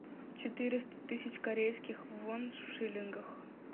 четыреста тысяч корейских вон в шиллингах